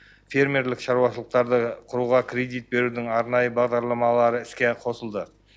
фермерлік шаруашылықтарды құруға кредит берудің арнайы бағдарламалары іске қосылды